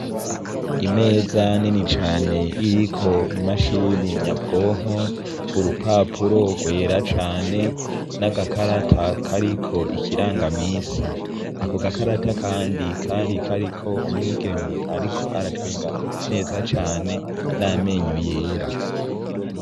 Imeza nini cane iriko imashini nyabwonko, urupapuro rwera cane 'agakarata kariko ikirangamisi. Ako gakarata kandi kari kariko umwigeme ariko aratwenga neza cane n'amenyo yera.